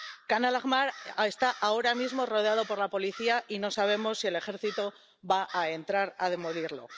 Jan al Ahmar está ahora mismo rodeado por la policía y no sabemos si el ejército va a entrar a demolerlo.